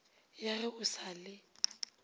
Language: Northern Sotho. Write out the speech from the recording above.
ya ge o sa le